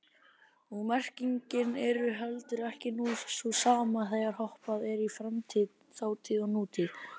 Og merkingin er heldur ekki sú sama þegar hoppað er í framtíð, þátíð og nútíð.